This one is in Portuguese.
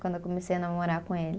Quando eu comecei a namorar com ele.